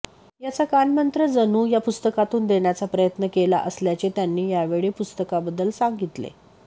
याचा कानमंत्र जणू या पुरस्कातून देण्याचा प्रयत्न केला असल्याचे त्यांनी यावेळी पुस्तकाबद्दल सांगितले